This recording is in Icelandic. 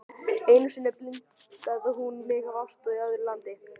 Einu sinni blindaði hún mig af ást í öðru landi.